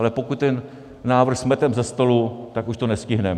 Ale pokud ten návrh smeteme ze stolu, tak už to nestihneme.